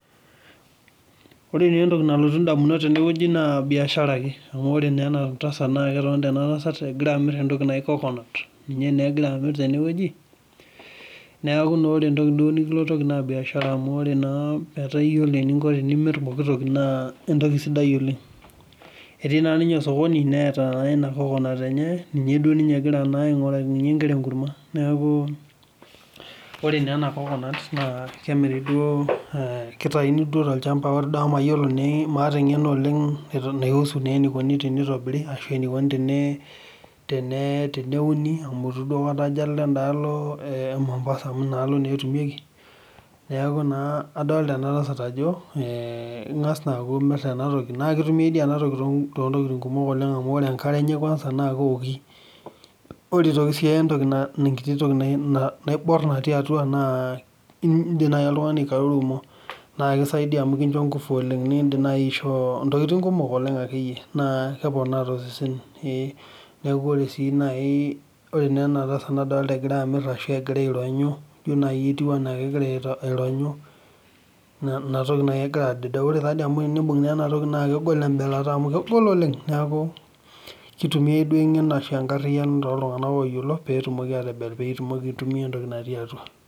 ore taa entoki nalotu damunot tene wueji naa biashara ake, amu ore taa ena tasat naa ketonita ena tasat egira amir entoki naji coconut ninye naa egira amir tene wueji. neeku ore naa entoki nikilotoki naa biashara amu, ore naa etaa iyiolo eninko tenimir poki toki naa entoki sidai oleng. etii naa ninye osokoni neeta ake ena coconut enye, ninye duo egira ninye aing'urakinye nkera enkurma, neeku ore naa ena coconut kemiri duo, ee kitayuni duoo tolchampa, ore duo amu maata engeno oleng. etu naisu naa enikoni tenitobiri ashu enikoni teneuni, amu eitu duo aikata ajo alo edaalo.e mombasa mu ina alo naa etumieki. neeku naa idolta ena tasat ajo ingas naa amir ena toki. naa kituiae dii ena toki, too ntokitin kumok, amu ore enkare enye kuansa naa keoki. ore aitoki sii enkiti toki naibor natii atua naa idim naji oltungani aikarurumo. naa kisaidia amu kisho nkufu oleng. nidim naaji aishoo ntokitin kumok akeyie, naa keponaa tosesen, neku ore sii naaji ore naa ena tasat nadoolta egira amir, egira aironyu. ijo naaji ketiu anaa kegira aironyu. ina toki naaji egira adedeu. ore naji amu enibung'naa ena toki amu kegol embelata. kegol oleng. neeku kitumiae duo engeno ashu enkariyiano tooltunganak ooyiolo pee itumoki aitayu entoki natii atua.